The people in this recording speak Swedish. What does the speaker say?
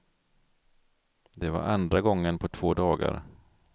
Det var andra gången på två dagar.